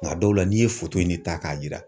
Nka dɔw la n'i ye in ta k'a yira.